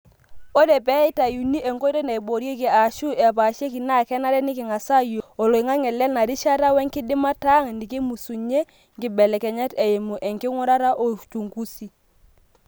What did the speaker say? Ore pee eitayuni nkoitoi naiboorieki aashu epashiekinaa kenare nikingas aayiolou oloingange lena rishata wenkidimata ang nikimusunyie nkibelekenyat eimu enkingurata o uchungusi .